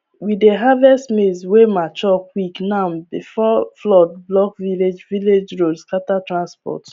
we dey harvest maize wey mature quick now before flood block village village road scatter transport